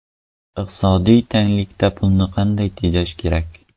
Iqtisodiy tanglikda pulni qanday tejash kerak?.